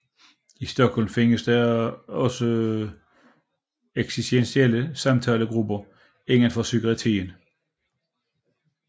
I Stockholm findes der også eksistentielle samtalegrupper inden for psykiatrien